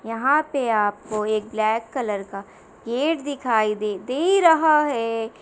यहाँ पे आपको एक ब्लैक कलर का गेट दिखाई दे दे रहा है।